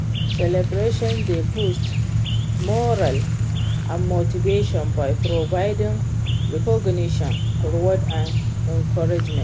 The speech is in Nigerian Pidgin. celebration dey boost morale and motivation by providing recognition, reward and encouragement.